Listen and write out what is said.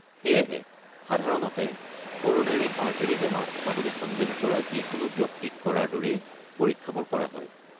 সেয়েহে সাধাৰণতে coronary artery বেমাৰ থকা বুলি সন্দেহ কৰা যিকোনো ব্যক্তিক কৰাৰ দৰেই পৰীক্ষাবোৰ কৰা হয়